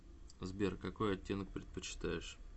сбер какой отеннок предпочитаешь